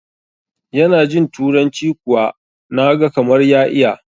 yana jinTuranci kuwa na gakamar ya iya